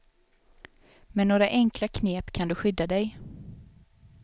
Med några enkla knep kan du skydda dig.